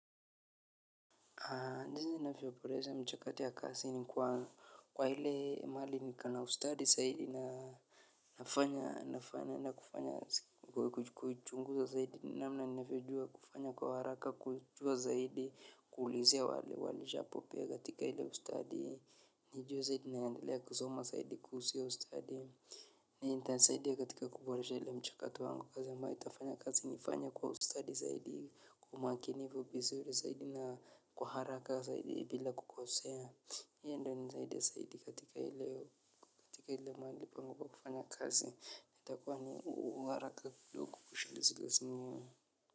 Ndizi ninavyoboresha mchakato ya kazi ni kwa ile mahali niko na ustadi zaidi na nafanya nafanya kufanya kuchunguza zaidi. Nnamna ninavyo jua kufanya kwa haraka, kujua zaidi, kuulizia wale walishabobea katika ile ustadi. Ni juzi tu naendelea kusoma zaidi kuhusu ustadi. Itanisaidia katika kuboresha ile mchakato wangu kazi ambayo itafanya kazi nifanye kwa ustadi zaidi. Umakinifu vizuri zaidi na kwa haraka zaidi bila kukosea hiyo ndio inasaidia katika ile mahali pangu pa kufanya kazi itakuwa na uharaka kidogo kushinda.